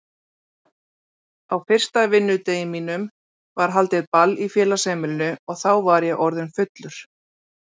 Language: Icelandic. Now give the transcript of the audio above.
Á fyrsta vinnudegi mínum var haldið ball í félagsheimilinu og þá var ég orðinn fullur.